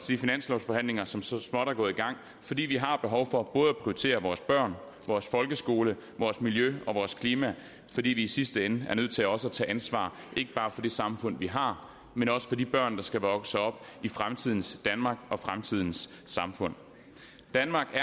de finanslovsforhandlinger som så småt er gået i gang fordi vi har behov for både at prioritere vores børn vores folkeskole vores miljø og vores klima fordi vi i sidste ende er nødt til også at tage ansvar ikke bare for det samfund vi har men også for de børn der skal vokse op i fremtidens danmark og fremtidens samfund danmark